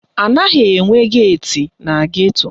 Anaghị enwe geeti na geto